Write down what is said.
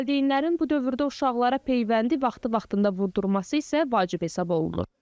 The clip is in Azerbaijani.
Valideynlərin bu dövrdə uşaqlara peyvəndi vaxtı-vaxtında vurdurması isə vacib hesab olunur.